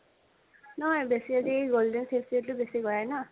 নহয় বেছি golden facial টো বেছি কৰাই ন।